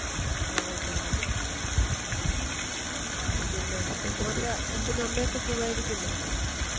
അതാ നല്ലത് ആ പിന്നെ മോൻറെ അച്ഛനും അമ്മയും ഒക്കെ സുഖായിരിക്കുന്നോ